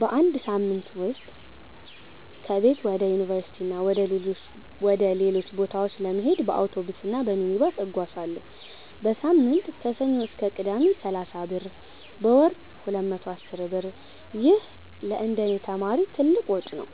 በአንድ ሳምንት ውስጥ ከቤት ወደ ዩኒቨርሲቲ እና ወደ ሌሎች ቦታዎች ለመሄድ በአውቶቡስ እና በሚኒባስ እጓዛለሁ። · በሳምንት (ከሰኞ እስከ ቅዳሜ) = 30 ብር · በወር = 210 ብር ይህ ለእንደኔ ተማሪ ትልቅ ወጪ ነው።